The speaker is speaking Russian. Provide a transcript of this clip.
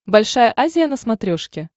большая азия на смотрешке